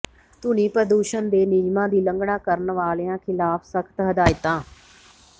ਧੁਨੀ ਪ੍ਰਦੂਸ਼ਣ ਦੇ ਨਿਯਮਾਂ ਦੀ ਉਲੰਘਣਾ ਕਰਨ ਵਾਲਿਆਂ ਿਖ਼ਲਾਫ਼ ਸਖ਼ਤ ਹਦਾਇਤਾਂ